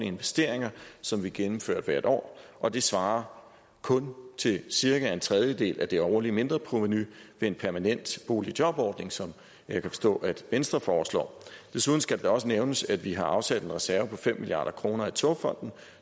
investeringer som vi gennemfører hvert år og det svarer kun til cirka en tredjedel af det årlige mindreprovenu ved en permanent boligjobordning som jeg kan forstå venstre foreslår desuden skal det da også nævnes at vi har afsat en reserve på fem milliard kroner i togfonden